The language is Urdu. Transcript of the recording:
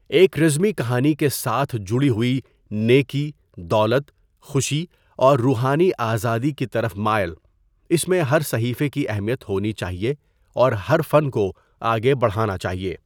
ایک رزمی کہانی کے ساتھ جڑی ہوئی، نیکی، دولت، خوشی اور روحانی آزادی کی طرف مائل، اس میں ہر صحیفے کی اہمیت ہونی چاہئے اور ہر فن کو آگے بڑھانا چاہیے۔